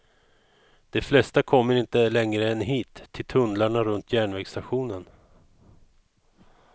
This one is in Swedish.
De flesta kommer inte längre än hit, till tunnlarna runt järnvägsstationen.